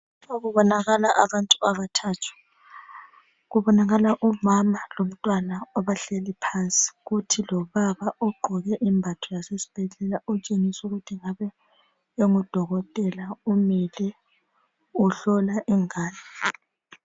Kubonakala abantu abathathu. Kubonakala umama lomntwana abahleli phansi kuthi lobaba ogqoke imbatho zesibhedlela otshengisa ukuthi kungabe kungudokotela umile uhlola ingane.